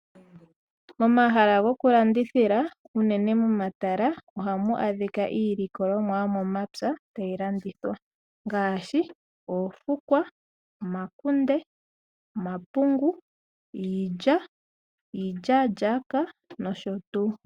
Omahala goku landithila unene momatala ohamu adhika iilikolomwa yomomapya tayi landithwa ngaashi oofukwa, omakunde, omapungu, iilya, iilyaalyaaka nosho tuu.